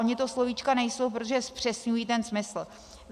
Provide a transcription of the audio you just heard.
Ona to slovíčka nejsou, protože zpřesňují ten smysl.